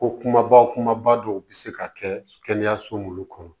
Ko kumaba kumaba dɔw bɛ se ka kɛ kɛnɛyaso minnu kɔnɔ